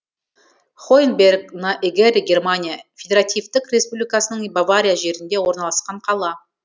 хоэнберг на эгере германия федеративтік республикасының бавария жерінде орналасқан қала